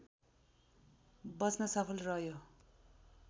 बच्न सफल रह्यो